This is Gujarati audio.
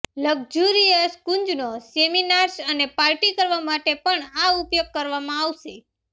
લગ્ઝુરિયસ ક્રૂઝનો સેમીનાર્સ અને પાર્ટી કરવા માટે પણ ઉપયોગ કરવામાં આવશે